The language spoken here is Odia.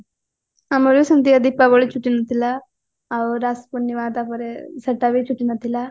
ଆମରବି ସେମିତିଆ ଦୀପାବଳି ଛୁଟି ନଥିଲା ଆଉ ରାସ ପୁର୍ଣିମା ତାପରେ ସେଟା ବି ଛୁଟି ନଥିଲା